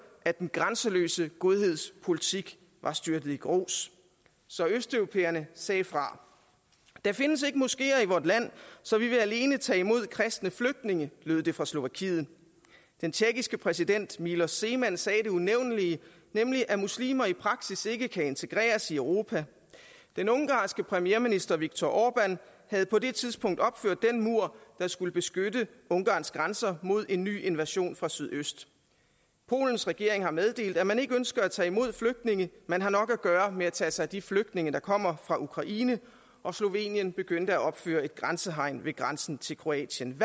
at den grænseløse godheds politik var styrtet i grus så østeuropæerne sagde fra der findes ikke moskeer i vort land så vi vil alene tage imod kristne flygtninge lød det fra slovakiet den tjekkiske præsident milos zeman sagde det unævnelige nemlig at muslimer i praksis ikke kan integreres europa den ungarske premierminister viktor orbán havde på det tidspunkt opført den mur der skulle beskytte ungarns grænser mod en ny invasion fra sydøst polens regering har meddelt at man ikke ønsker at tage imod flygtninge man har nok at gøre med at tage sig af de flygtninge der kommer fra ukraine og slovenien begyndte at opføre et grænsehegn ved grænsen til kroatien